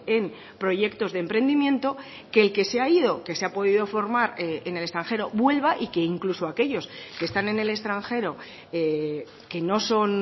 en proyectos de emprendimiento que el que se ha ido que se ha podido formar en el extranjero vuelva y que incluso aquellos que están en el extranjero que no son